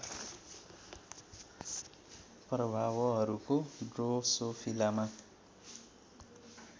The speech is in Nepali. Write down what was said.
प्रभावोहरूको ड्रोसोफिलामा